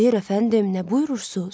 Xeyr əfəndim, nə buyurursuz?